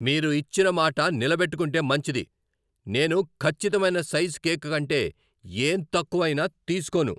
మీరు ఇచ్చిన మాట నిలబెట్టుకుంటే మంచిది. నేను ఖచ్చితమైన సైజు కేక్ కంటే ఏం తక్కువ అయినా తీస్కోను.